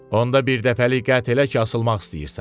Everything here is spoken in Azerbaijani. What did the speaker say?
Onda birdəfəlik qətlə ki, asılmaq istəyirsən.